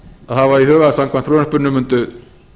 hafa í huga að samkvæmt frumvarpinu mundu